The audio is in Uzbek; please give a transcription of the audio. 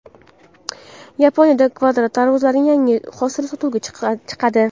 Yaponiyada kvadrat tarvuzlarning yangi hosili sotuvga chiqadi.